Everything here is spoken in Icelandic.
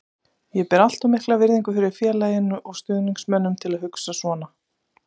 Ég ber allt of mikla virðingu fyrir félaginu og stuðningsmönnunum til að hugsa svona.